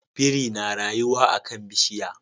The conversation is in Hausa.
Biri na rayuwa a kan bishiya